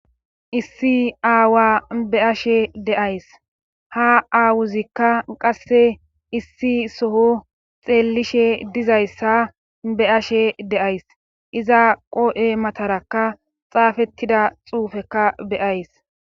issi aawa be ashe deays ha aawuzikka qasse issi soho xeellishe dizayssa be ashe deays iza qoo7e matarakka xaafettida xuufekka beyays